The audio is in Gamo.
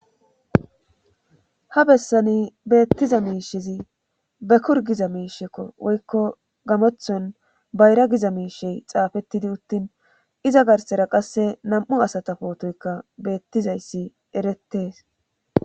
Ha bessani beettiza miishezi be kur giza miishekko woykko gamothon bayra giza miishey xaafettidi uttin iza garsera qasse nam'u asata pootoyka beettizayssi erettees